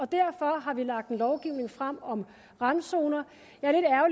derfor har vi lagt en lovgivning frem om randzoner jeg